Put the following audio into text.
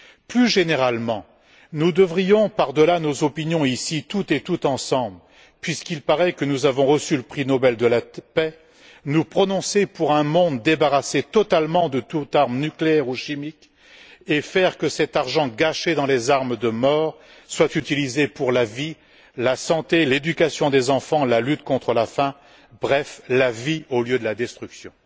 Plus généralement, nous devrions, par delà nos opinions, toutes et tous ensemble puisqu'il paraît que nous avons reçu le prix Nobel de la paix nous prononcer pour un monde débarrassé de toute arme nucléaire ou chimique et faire que cet argent, gâché dans les armes de mort, soit utilisé pour la vie, la santé, l'éducation des enfants, la lutte contre la faim, bref la vie, au lieu de l'être pour la destruction.